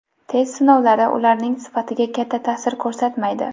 Test sinovlari ularning sifatiga katta ta’sir ko‘rsatmaydi.